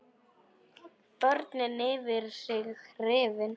Börnin yfir sig hrifin.